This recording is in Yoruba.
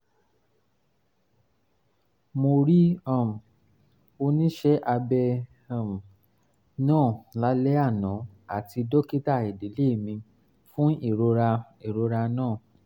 mo rí um oníṣẹ́ abẹ um náà lálẹ́ àná àti dókítà ìdílé mi fún ìrora ìrora náà